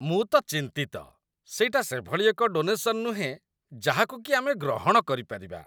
ମୁଁ ତ ଚିନ୍ତିତ! ସେଇଟା ସେଭଳି ଏକ ଡୋନେସନ୍ ନୁହେଁ ଯାହାକୁ କି ଆମେ ଗ୍ରହଣ କରିପାରିବା।